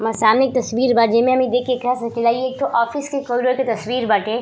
हमर सामने एक तस्वीर बा जेमे हम देख के केह सकी ला इ एक ठो ऑफिस के कॉरिडोर के तस्वीर बाटे --